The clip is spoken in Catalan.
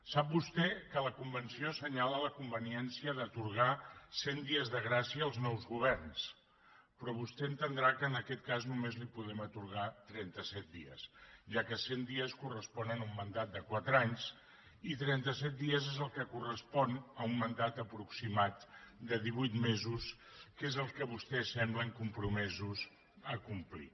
sap vostè que la convenció assenyala la conveniència d’atorgar cent dies de gràcia als nous governs però vostè entendrà que en aquest cas només li podrem atorgar trenta set dies ja que cent dies corresponen a un mandat de quatre anys i trenta set dies són els que corresponen a un mandat aproximat de divuit mesos que és el que vostès semblen compromesos a complir